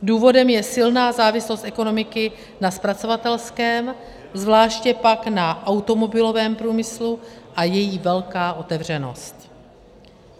Důvodem je silná závislost ekonomiky na zpracovatelském, zvláště pak na automobilovém průmyslu a její velká otevřenost.